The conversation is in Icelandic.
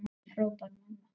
hrópar mamma.